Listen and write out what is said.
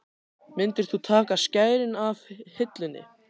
Myndir þú taka skærin af hillunni?